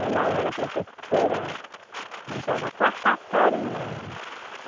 Ela era professora já da quarta série minha.